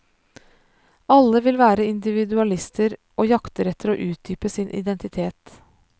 Alle vil være individualister, og jakter etter å utdype sin identitet.